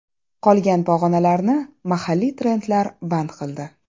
Qolgan pog‘onalarni mahalliy trendlar band qildi.